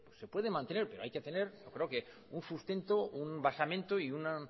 se puede mantener pero hay que tener yo creo que un sustento un basamento y un